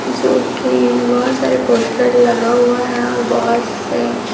जो की वहाॅं सारे पोस्टर लगा हुआ हैं और बहोत से--